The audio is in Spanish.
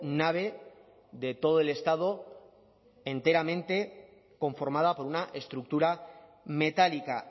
nave de todo el estado enteramente conformada por una estructura metálica